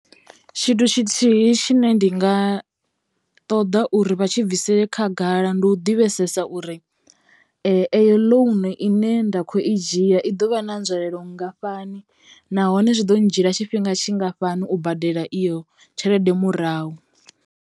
Tshithu tshithihi tshine ndi nga ṱoḓa uri vha tshi bvisele khagala ndi u ḓivhesesa uri eyo ḽounu ine nda kho i dzhia i ḓo vha na nzwalelo nngafhani nahone zwi ḓo ndzhia tshifhinga tshingafhani u badela iyo tshelede murahu.